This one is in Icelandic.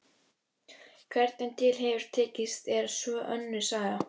Hvernig til hefur tekist er svo önnur saga.